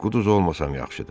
Quduz olmasam yaxşıdır.